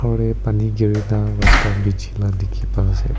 pani giri nah rasta biji lah dikhi pa ase.